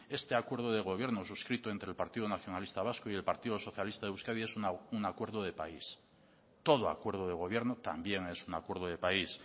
este acuerdo de gobierno suscrito entre el partido nacionalista vasco y el partido socialista de euskadi es un acuerdo de país todo acuerdo de gobierno también es un acuerdo de país